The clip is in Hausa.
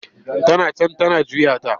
Tana can tana juya ta.